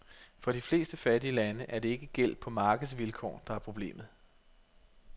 For de fleste fattige lande er det ikke gæld på markedsvilkår, der er problemet.